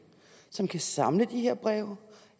som kan samle de her breve